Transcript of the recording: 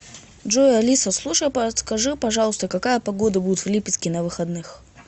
джой алиса слушай подскажи пожалуйста какая погода будет в липецке на выходных